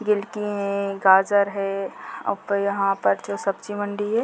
गिलकी हैं गाजर है ऊपर यहाँ पर जो सब्जी मंडी है।